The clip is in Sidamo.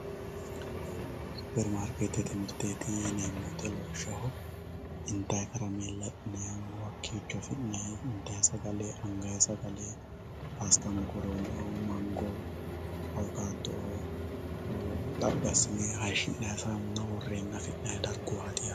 superimaarikeettete mirteeti yineemmo woyiite lawishshaho intayii karameella afi'nayiihu hakkiicho afi'nayii intayii sagale angayii sagale pasta mokoroone mango"oo awukaato"oo xaphi assine haashshi'nayii saamuna worreenna afi'nayii darguwaati yaatew.